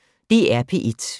DR P1